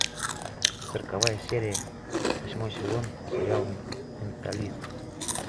сороковая серия восьмой сезон сериал менталист